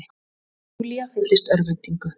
Og Júlía fylltist örvæntingu.